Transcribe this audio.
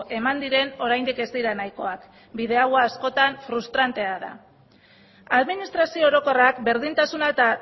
eman diren oraindik ez dira nahikoak bide hau askotan frustrantea da administrazio orokorrak berdintasuna eta